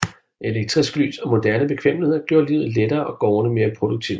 Elektrisk lys og moderne bekvemmeligheder gjorde livet lettere og gårdene mere produktive